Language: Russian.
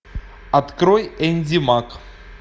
открой энди мак